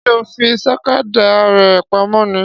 Ṣé ó fi sakada rẹ pamọ́ ni?